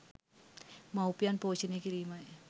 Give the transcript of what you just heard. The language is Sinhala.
මවුපියන් පෝෂණය කිරීමයි.